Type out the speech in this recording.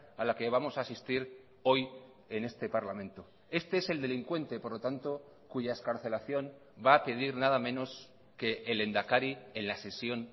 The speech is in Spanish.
a la que vamos a asistir hoy en este parlamento este es el delincuente por lo tanto cuya excarcelación va a pedir nada menos que el lehendakari en la sesión